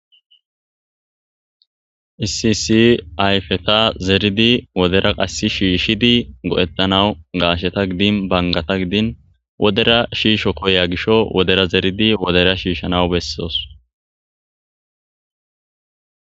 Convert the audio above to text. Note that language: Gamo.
Isisi ayfeta zeridi wodera qassi shiishidi go'ettanawu gaasheta gidin bangata gidin wodera shiisho koya gisho wodera zeridi wodera shiishshanawu bessoos.